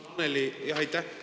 Jah, aitäh!